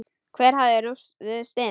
Hver hafði ruðst inn?